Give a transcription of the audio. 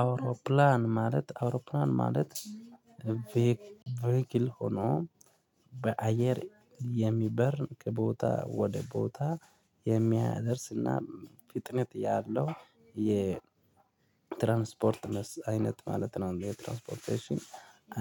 አውሮፕላን ማለት አውሮፕላን ማለት ቬክ ቬክል ሆኖ በአየር የሚበር ከቦታ ወደ ቦታ የሚያደርስና ፍጥነት ያለው የ ትራንስፖርት አይነት ማለት ነው የትራንስፖርቴሽን